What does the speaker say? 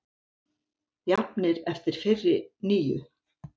Jafnir eftir fyrri níu